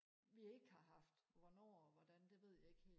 vi ikke har haft hvornår og hvordan det ved jeg ikke helt